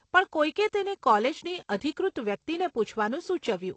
પણ, કોઈકે તેને કોલેજની અધિકૃત વ્યક્તિને પૂછવાનું સૂચવ્યું.